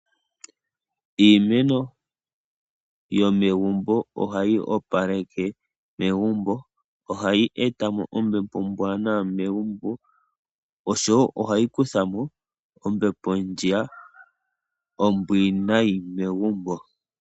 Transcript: Iimeno yomegumbo ohayi opaleke megumbo. Ohayi e ta mo ombepo ombwaanawa megumbo, noshowo ohayi kutha mo ombepo ndjiya ombwiinayi megumbo.